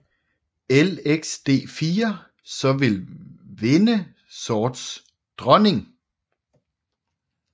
Lxd4 så vil vinde sorts dronning